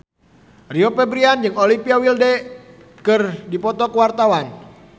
Rio Febrian jeung Olivia Wilde keur dipoto ku wartawan